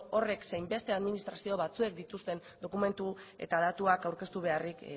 horrek zein beste administrazio batzuek dituzten dokumentu eta datuak aurkeztu beharrik